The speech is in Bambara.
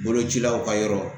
Bolocilaw ka yɔrɔ